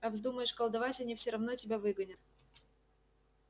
а вздумаешь колдовать они все равно тебя выгонят